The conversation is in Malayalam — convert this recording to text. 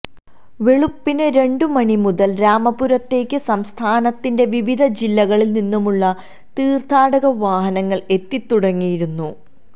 വെളുപ്പിന് രണ്ടുമണി മുതല് രാമപുരത്തേയ്ക്ക് സംസ്ഥാനത്തിന്റെ വിവിധ ജില്ലകളില് നിന്നുമുള്ള തീര്ത്ഥാടക വാഹനങ്ങള് എത്തിത്തുടങ്ങിയിരുന്നു